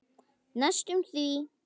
Næstum því.